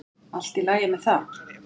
Allt í lagi með það.